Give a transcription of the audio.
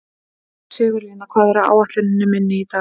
Sigurlína, hvað er á áætluninni minni í dag?